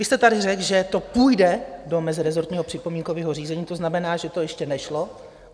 Vy jste tady řekl, že to půjde do meziresortního připomínkového řízení, to znamená, že to ještě nešlo.